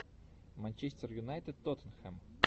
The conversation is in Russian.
манчестер юнайтед тоттенхэм